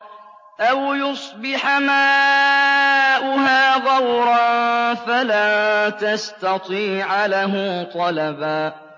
أَوْ يُصْبِحَ مَاؤُهَا غَوْرًا فَلَن تَسْتَطِيعَ لَهُ طَلَبًا